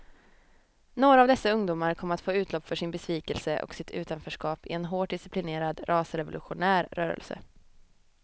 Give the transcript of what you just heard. Några av dessa ungdomar kom att få utlopp för sin besvikelse och sitt utanförskap i en hårt disciplinerad rasrevolutionär rörelse.